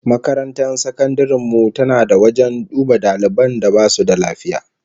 Makarantar sakandaren mu tana da wajen duba daliban da basu da lafiya